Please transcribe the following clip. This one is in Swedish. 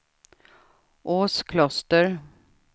Åskloster